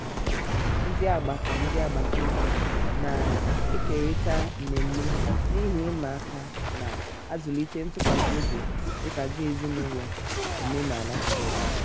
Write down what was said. ndị agbata ndị agbata obi na-ekerịta mmemme na ihe ịma aka na-azụlite ntụkwasị obi dịka ndị ezinaụlọ omenala si eme.